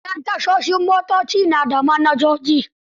Manyan tashoshin motoci na da manajoji.